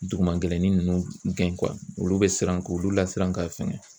Duguma gɛlɛnnin ninnu gɛn olu bɛ siran k'olu lasiran ka fɛgɛn.